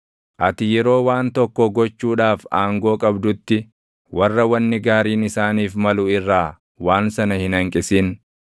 Ati yeroo waan tokko gochuudhaaf aangoo qabdutti, warra wanni gaariin isaaniif malu irraa waan sana hin hanqisin.